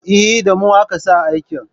Eh, Da mu aka sa aikin